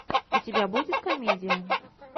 у тебя будет комедия